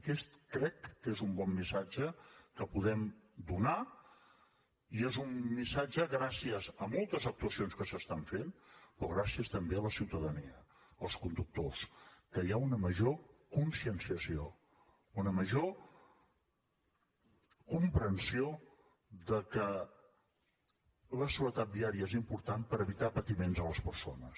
aquest crec que és un bon missatge que podem donar i és un missatge gràcies a moltes actuacions que s’estan fent però gràcies també a la ciutadania als conductors que hi ha una major conscienciació una major comprensió de que la seguretat viària és important per evitar patiments a les persones